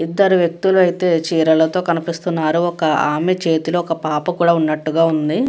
ఇద్దరు వ్యక్తులు అయితే చీరలతో కనిపిస్తున్నారు. ఒక ఆమె చేతిలో ఒక పాప కూడా ఉన్నట్టుగ ఉంది.